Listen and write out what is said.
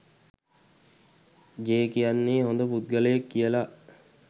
J කියන්නේ හොඳ පුද්ගලයෙක් කියලා